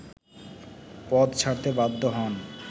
পদ ছাড়তে বাধ্য হন